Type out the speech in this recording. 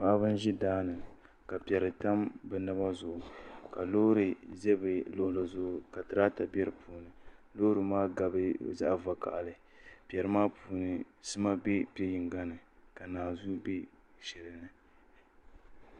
Paɣaba n ʒi daani ka piɛri tam bi naba zuɣu ka loori ʒi bi luɣuli zuɣu ka tirata bɛ di puuni loori maa gabi zaɣ vakaɣali piɛri maa puuni sima bɛ piɛ yinga ni ka naanzuu bɛ shɛli ni